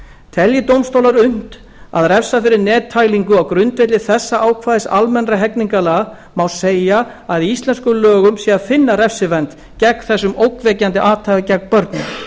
telji dómstólar unnt að refsa fyrir nettælingu á grundvelli þessa ákvæðis almennra hegningarlaga má segja að í íslenskum lögum sé að finna refsivernd gegn þessu ógnvekjandi athæfi gegn börnum